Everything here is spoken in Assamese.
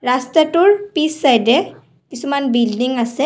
ৰাস্তাটোৰ পিছচাইদে কিছুমান বিল্ডিং আছে।